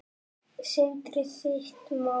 Sindri: Þitt mat?